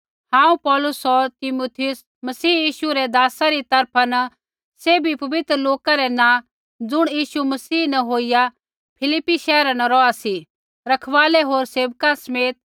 हांऊँ पौलुस होर तीमुथियुस मसीह यीशु रै दासा री तरफा न सैभी पवित्र लोका रै नाँ ज़ुण यीशु मसीह न होईया फिलिप्पी शैहरा न रौहा सी रखवालै होर सेवका समेत